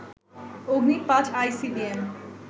Agni ৫ ICBM